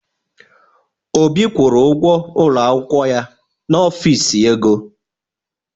Obi kwụrụ ụgwọ ụlọ akwụkwọ ya n'Ọfịs ego.